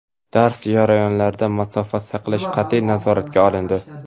Dars jarayonlarida masofa saqlash qatʼiy nazoratga olindi.